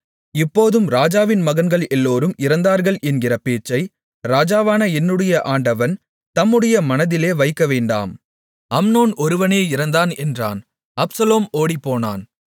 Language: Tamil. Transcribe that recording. இப்போதும் ராஜாவின் மகன்கள் எல்லோரும் இறந்தார்கள் என்கிற பேச்சை ராஜாவான என்னுடைய ஆண்டவன் தம்முடைய மனதிலே வைக்கவேண்டாம் அம்னோன் ஒருவனே இறந்தான் என்றான் அப்சலோம் ஓடிப்போனான்